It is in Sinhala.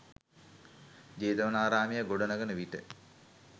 ජේතවනාරාමය ගොඩනඟන විට